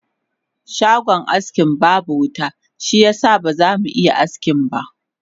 Shagon askin babu wuta shiyasa ba zamu iya askinba